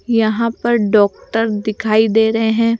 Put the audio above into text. यहां पर डॉक्टर दिखाई दे रहे हैं।